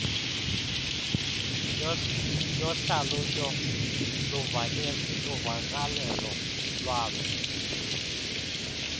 yohlalutyo luvakalelo lwaloo